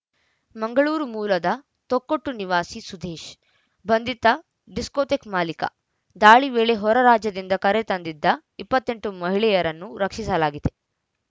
ಮಂಗಳೂರು ಮೂಲದ ತೊಕ್ಕೊಟ್ಟು ನಿವಾಸಿ ಸುದೇಶ್‌ ಬಂಧಿತ ಡಿಸ್ಕೋಥೆಕ್‌ ಮಾಲಿಕ ದಾಳಿ ವೇಳೆ ಹೊರ ರಾಜ್ಯದಿಂದ ಕರೆ ತಂದಿದ್ದ ಇಪ್ಪತ್ತ್ ಎಂಟು ಮಹಿಳೆಯರನ್ನು ರಕ್ಷಿಸಲಾಗಿದೆ